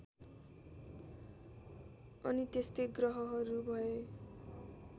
अनि त्यस्तै ग्रहहरू भए